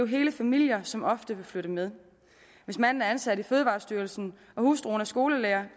hele familier som ofte vil flytte med hvis manden er ansat i fødevarestyrelsen og hustruen er skolelærer